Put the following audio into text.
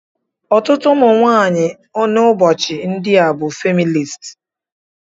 Ọtụtụ ụmụ nwanyị n'ụbọchị ndị a bụ ndị feminist.